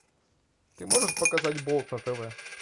ты можешь показать болт на тв